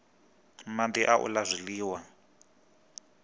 madi na u la zwiliwa